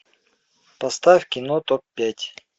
поставь кино топ пять